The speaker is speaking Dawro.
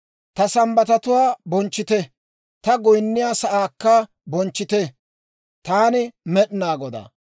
« ‹Ta Sambbatatuwaa bonchchite; taw goynniyaa sa'aakka bonchchite. Taani Med'inaa Godaa.